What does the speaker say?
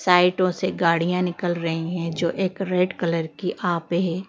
साइडों से गाड़ियां निकल रही हैं जो एक रेड कलर की आप पे--